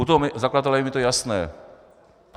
U toho zakladatele je mi to jasné.